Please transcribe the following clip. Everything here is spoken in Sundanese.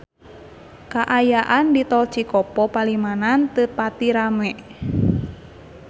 Kaayaan di Tol Cikopo Palimanan teu pati rame